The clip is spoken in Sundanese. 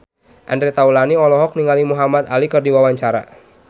Andre Taulany olohok ningali Muhamad Ali keur diwawancara